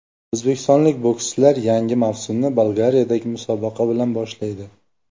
O‘zbekistonlik bokschilar yangi mavsumni Bolgariyadagi musobaqa bilan boshlaydi.